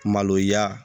Maloya